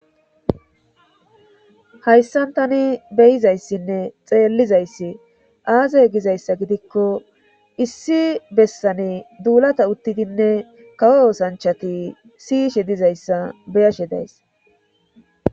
hayssan tani beyizayssinne xeellizayssi aazey gizayssa gidikko issi bessane duulata uttidinne kawo osanchati siyishe dizayssa beyashe days